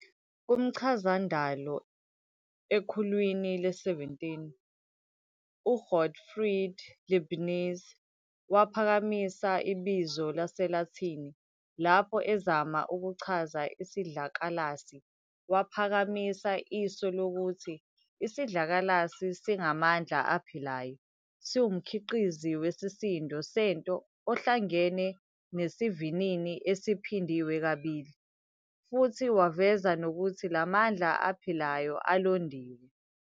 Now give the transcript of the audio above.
Kumchazandalo, ekhulwini le-17, uGottfried Leibniz waphakamisa ibizo lesiLathini, lapho ezama ukuchaza Isidlakalasi, waphakamisa isu lokuthi isidlakalasi singamandla aphilayo, siwumkhiqizo wesisindo sento ohlangene nesivinini esiphindwe kabili, futhi waveza nokuthi lamandla aphilayo alondiwe.